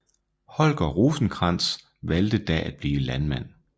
Holger Rosenkrantz valgte da at blive landmand